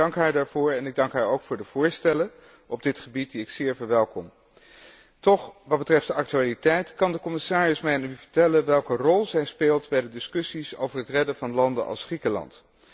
Ik dank haar daarvoor en ik dank haar ook voor de voorstellen op dit gebied, die ik zeer verwelkom. Toch, wat betreft de actualiteit, kan de commissaris mij vertellen welke rol zij speelt bij de discussies over het redden van landen als Griekenland?